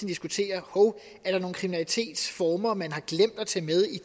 diskuterer hov er der nogle kriminalitetsformer man har glemt at tage med